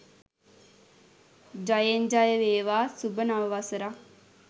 ජයෙන් ජය වේවා සුභ නව වසරක්